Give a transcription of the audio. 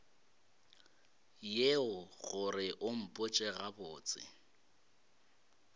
yeo gore o mpotše gabotse